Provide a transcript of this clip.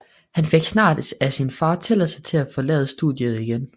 Han fik snart af sin far tilladelse til at forlade studiet igen